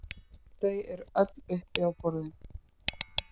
Þau eru öll uppi á borðinu